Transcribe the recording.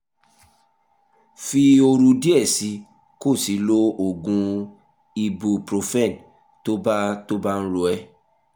fi ooru díẹ̀ sí i kó o sì lo oògùn ibuprofen tó bá tó bá ń ro ẹ́